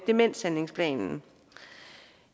demenshandlingsplanen